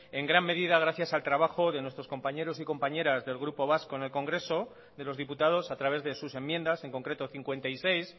en gran medida gracias al trabajo de nuestros compañeros y compañeras del grupo vasco en el congreso de los diputados a través de sus enmiendas en concreto cincuenta y seis